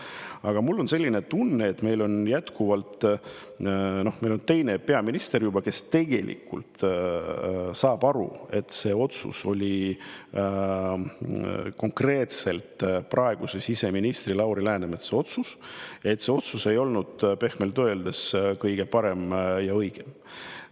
Aga mul on selline tunne, et meil on juba teine peaminister, kes tegelikult saab aru, et see otsus oli konkreetselt praeguse siseministri Lauri Läänemetsa otsus ja see otsus ei olnud pehmelt öeldes kõige parem ja õigem.